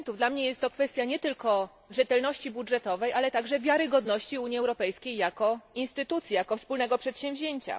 Dla mnie jest to kwestia nie tylko rzetelności budżetowej, ale także wiarygodności Unii Europejskiej jako instytucji, jako wspólnego przedsięwzięcia.